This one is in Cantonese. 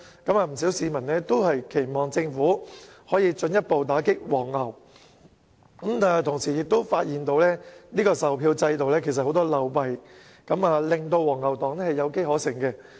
不少市民均期望政府進一步打擊"黃牛"，卻同時發現售票制度漏弊叢生，令"黃牛黨"有機可乘。